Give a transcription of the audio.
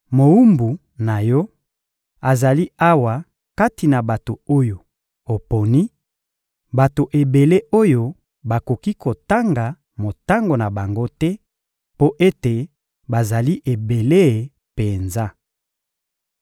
Mowumbu na Yo azali awa kati na bato oyo oponi: bato ebele oyo bakoki kotanga motango na bango te mpo ete bazali ebele penza.